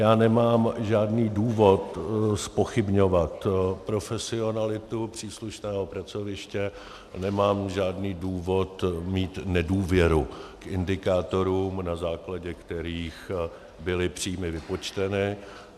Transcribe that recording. Já nemám žádný důvod zpochybňovat profesionalitu příslušného pracoviště, nemám žádný důvod mít nedůvěru k indikátorům, na základě kterých byly příjmy vypočteny.